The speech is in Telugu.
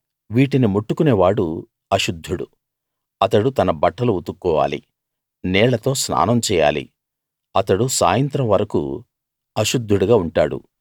వీటిని ముట్టుకునే వాడు అశుద్ధుడు అతడు తన బట్టలు ఉతుక్కోవాలి నీళ్ళతో స్నానం చేయాలి అతడు సాయంత్రం వరకూ అశుద్ధుడుగా ఉంటాడు